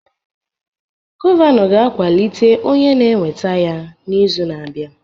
Gọvanọ ga-akwalite onye na-eweta ya n'izu na-abịa